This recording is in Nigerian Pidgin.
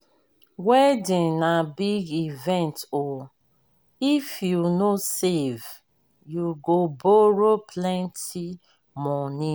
wedding na big event o if you no save you go borrow plenty moni.